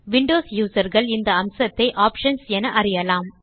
Windows user கள் இந்த அம்சத்தை ஆப்ஷன்ஸ் என அறியலாம்